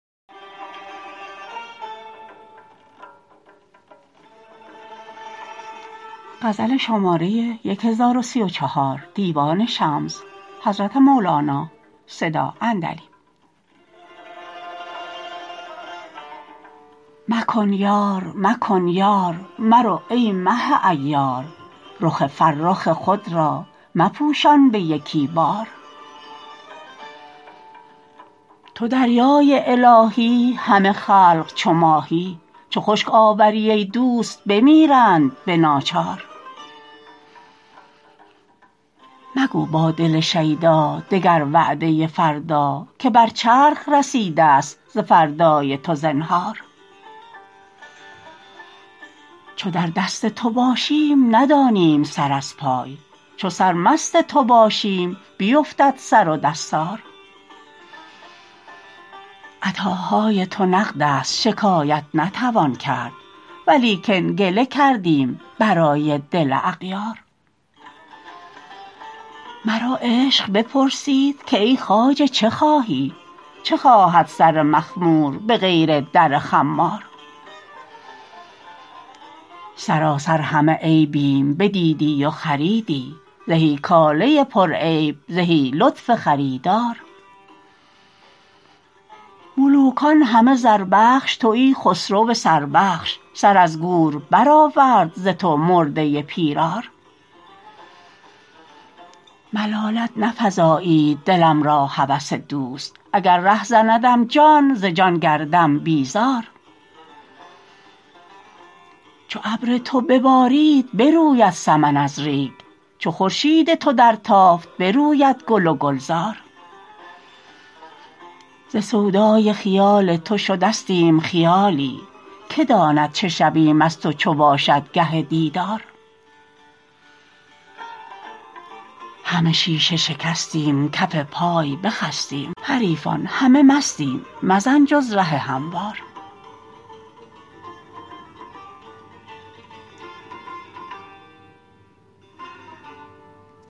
مکن یار مکن یار مرو ای مه عیار رخ فرخ خود را مپوشان به یکی بار تو دریای الهی همه خلق چو ماهی چو خشک آوری ای دوست بمیرند به ناچار مگو با دل شیدا دگر وعده فردا که بر چرخ رسیدست ز فردای تو زنهار چو در دست تو باشیم ندانیم سر از پای چو سرمست تو باشیم بیفتد سر و دستار عطاهای تو نقدست شکایت نتوان کرد ولیکن گله کردیم برای دل اغیار مرا عشق بپرسید که ای خواجه چه خواهی چه خواهد سر مخمور به غیر در خمار سراسر همه عیبیم بدیدی و خریدی زهی کاله پرعیب زهی لطف خریدار ملوکان همه زربخش تویی خسرو سربخش سر از گور برآورد ز تو مرده پیرار ملالت نفزایید دلم را هوس دوست اگر ره زندم جان ز جان گردم بیزار چو ابر تو ببارید بروید سمن از ریگ چو خورشید تو درتافت بروید گل و گلزار ز سودای خیال تو شدستیم خیالی کی داند چه شویم از تو چو باشد گه دیدار همه شیشه شکستیم کف پای بخستیم حریفان همه مستیم مزن جز ره هموار